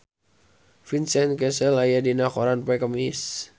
Vincent Cassel aya dina koran poe Kemis